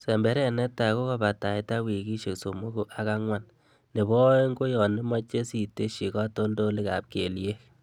semberet netai kokabataita wikisiek somoku ak angwan. Nebo oeng' koyon imoche sitesyi katoltolikab keliek.